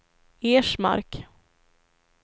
Ersmark